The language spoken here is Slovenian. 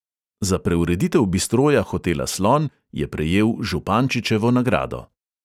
Za preureditev bistroja hotela slon je prejel župančičevo nagrado.